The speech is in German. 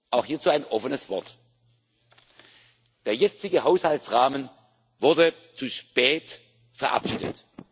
Auch hierzu ein offenes Wort Der jetzige Haushaltsrahmen wurde zu spät verabschiedet.